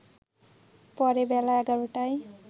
পরে বেলা ১১টায়